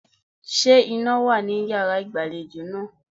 Ṣé iná wà ní yàrá ìgbàlejò náà?